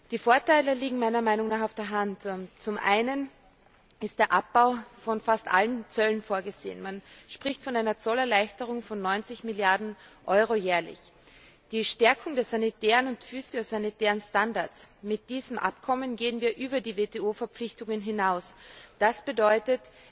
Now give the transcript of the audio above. Die Vorteile liegen meiner Meinung nach auf der Hand Zum einen ist der Abbau von fast allen Zöllen vorgesehen man spricht von einer Zollerleichterung von 90 Mrd. Euro jährlich die Stärkung der sanitären und phytosanitären Standards mit diesem Abkommen gehen wir über die WTO Verpflichtungen hinaus, das bedeutet